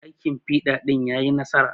Aikin fiɗa ɗin yayi nasara.